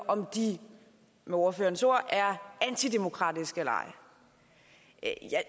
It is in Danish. om de med ordførerens ord er antidemokratiske eller ej